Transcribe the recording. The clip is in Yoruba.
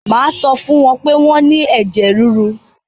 Mà á sọ fún wọ́n pé wọ́n ní ẹ̀jẹ̀-ríru.